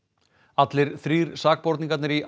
allir þrír sakborningarnir í